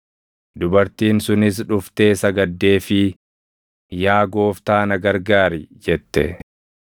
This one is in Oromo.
Dubartiin sunis dhuftee sagaddeefii, “Yaa Gooftaa na gargaari!” jette.